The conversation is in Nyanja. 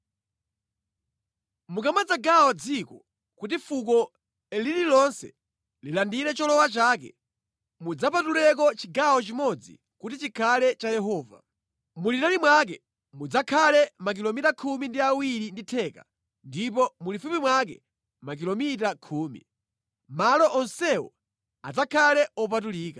“ ‘Mukamadzagawa dziko kuti fuko lililonse lilandire cholowa chake, mudzapatuleko chigawo chimodzi kuti chikhale cha Yehova. Mulitali mwake mudzakhale makilomita khumi ndi awiri ndi theka ndipo mulifupi mwake makilomita khumi. Malo onsewo adzakhale opatulika.